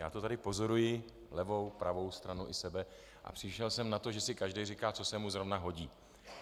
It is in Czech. Já to tady pozoruji, levou, pravou stranu i sebe, a přišel jsem na to, že si každý říká, co se mu zrovna hodí.